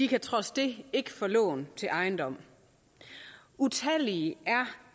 kan trods det ikke få lån til ejendom utallige er